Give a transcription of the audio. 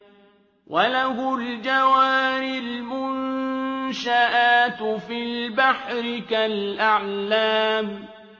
وَلَهُ الْجَوَارِ الْمُنشَآتُ فِي الْبَحْرِ كَالْأَعْلَامِ